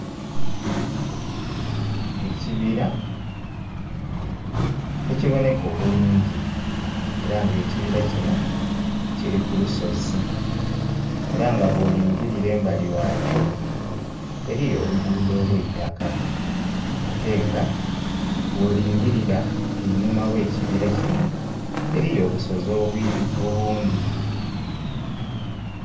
Ekibira ekiboneka obulungi era nga ekibira kino kiri ku lusozi era nga bwolingirira embali ghakyo eriyo oluguudo olwa itaka ate nga wolingirira einhuma oghe kibira kino eriyo obusozi obundhi.